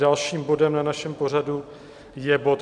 Dalším bodem v našem pořadu je bod